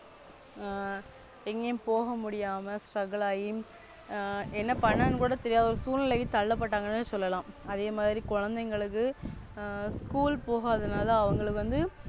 ஆ எங்கயும் போக முடியாம Struggle என்னபண்ணனும் கூட தெரியாத சூழ்நிலைக்கு தள்ளப்பட்டங்கன்னு சொல்லலாம். அதே மாதிரி குழந்தைங்களுக்கு School போக அதனால அவங்களுக்கு வந்து,